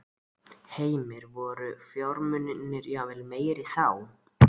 Heimir: Voru fjármunirnir jafnvel meiri þá?